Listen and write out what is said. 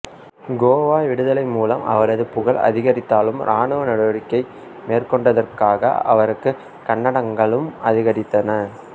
கோவா விடுதலை மூலம் அவரது புகழ் அதிகரித்தாலும் ராணுவ நடவடிக்கை மேற்கொண்டதற்காக அவருக்குக் கண்டனங்களும் அதிகரித்தன